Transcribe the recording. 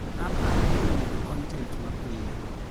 Aparo kuom medo kontent mapiyo.